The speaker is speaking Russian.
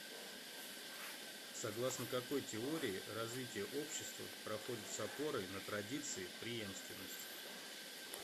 согласно какой теории развитие общества проходит с опорой на традиции преемственность